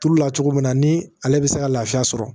Turu la cogo min na ni ale bɛ se ka lafiya sɔrɔ